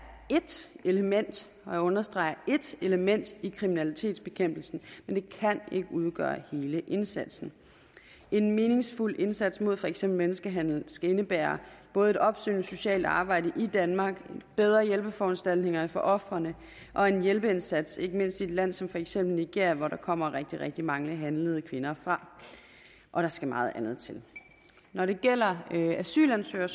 ét element og jeg understreger ét element i kriminalitetsbekæmpelsen men det kan ikke udgøre hele indsatsen en meningsfuld indsats mod for eksempel menneskehandel skal indebære både et opsøgende socialt arbejde i danmark bedre hjælpeforanstaltninger for ofrene og en hjælpeindsats ikke mindst i et land som for eksempel nigeria hvor der kommer rigtig rigtig mange handlede kvinder fra og der skal meget andet til når det gælder asylansøgere